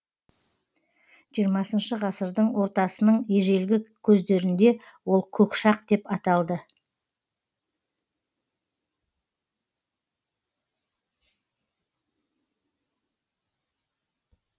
жиырмасыншы ғасырдың ортасының ежелгі көздерінде ол көкшақ деп аталды